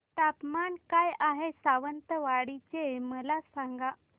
तापमान काय आहे सावंतवाडी चे मला सांगा